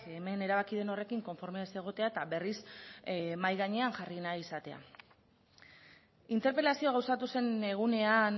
hemen erabaki den horrekin konforme ez egotea eta berriz mahai gainean jarri nahi izatea interpelazioa gauzatu zen egunean